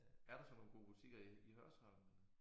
Er der så nogle gode butikker i i Hørsholm?